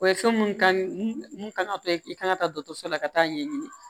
O ye fɛn mun kan mun kan ka to yen i kan ka taa dɔtɔrɔso la ka taa ɲɛɲini